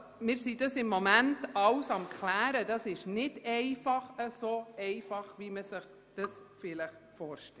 Wir sind im Moment daran, alles abzuklären, weil es sich nicht so einfach gestaltet, wie man sich dies vielleicht vorstellt.